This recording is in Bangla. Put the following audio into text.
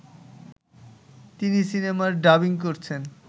তিনি সিনেমার ডাবিং করছেন